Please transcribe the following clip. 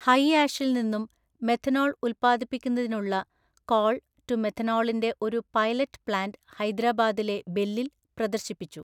ഹൈആഷില് നിന്നും മെഥനോള് ഉല്പ്പാദിപ്പിക്കുന്നതിനുള്ള coal to മെഥനോളിന്റെ ഒരു പൈലറ്റ് പ്ലാന്റ് ഹൈദ്രാബാദിലെ ബെല്ലില് പ്രദര്ശിപ്പിച്ചു.